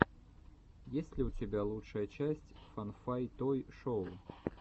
есть ли у тебя лучшая часть фан фан той шоу